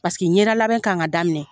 Paseke ɲɛda labɛn kan ka daminɛ